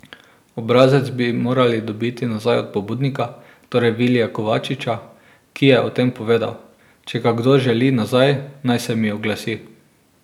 Obrazec bi morali dobiti nazaj od pobudnika, torej Vilija Kovačiča, ki je o tem povedal: 'Če ga kdo želi nazaj, naj se mi oglasi.